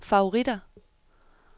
favoritter